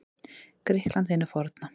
Grikklandi hinu forna.